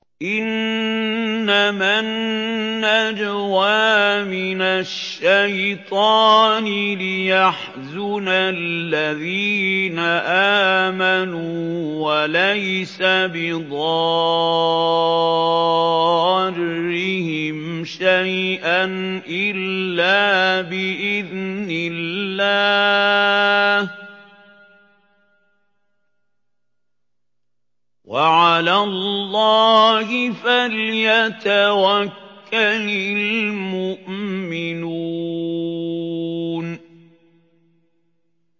إِنَّمَا النَّجْوَىٰ مِنَ الشَّيْطَانِ لِيَحْزُنَ الَّذِينَ آمَنُوا وَلَيْسَ بِضَارِّهِمْ شَيْئًا إِلَّا بِإِذْنِ اللَّهِ ۚ وَعَلَى اللَّهِ فَلْيَتَوَكَّلِ الْمُؤْمِنُونَ